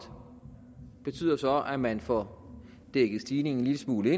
betyder så at man får dækket stigningen en lille smule